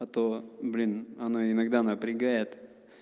а то блин она иногда напрягает